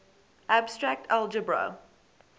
abstract algebra